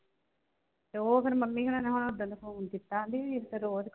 ਤੇ ਉਹ ਫਿਰ ਮੰਮੀ ਹੁਣਾ ਨੇ ਓਦਣ ਦਾ phone ਕੀਤਾ ਨੀ। ਨਈਂ ਤੇ ਰੋਜ ਕਰਦੇ ਆ